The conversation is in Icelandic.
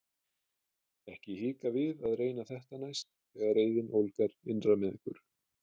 Ekki hika við að reyna þetta næst þegar reiðin ólgar innra með ykkur!